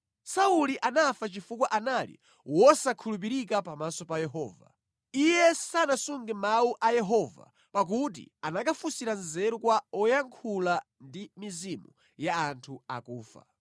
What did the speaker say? Sauli anafa chifukwa anali wosakhulupirika pamaso pa Yehova. Iye sanasunge mawu a Yehova, pakuti anakafunsira nzeru kwa woyankhula ndi mizimu ya anthu akufa,